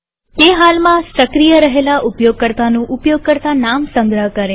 તે હાલમાં સક્રિય રહેલા ઉપયોગકર્તાનું ઉપયોગકર્તા નામ સંગ્રહ કરે છે